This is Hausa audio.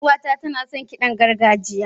Yar uwata tana son kiɗan gargajiya.